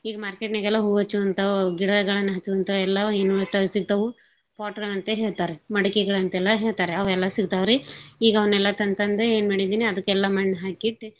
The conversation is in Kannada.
ಈಗ್ market ನಾಗೆಲ್ಲಾ ಹೂವಾಚ್ಚೂವಂತಾವ್ ಗಿಡಗಳನ್ ಹಚ್ಚೂವಂತಾವ್ ಎಲ್ಲಾ ಸಿಗ್ತಾವು pot ಹಂತೇಳ್ ಹೇಳ್ತಾರ್ ಮಡಕೆಗಳಂತೆಲ್ಲಾ ಹೇಳ್ತಾರೆ. ಅವೆಲ್ಲಾ ಸಿಗ್ತಾವ್ರಿ. ಈಗವ್ನೆಲ್ಲಾ ತಂತಂದ ಏನ್ಮಾಡಿದೀನಿ ಅದಕ್ಕೆಲ್ಲಾ ಮಣ್ಹಾಕಿಟ್.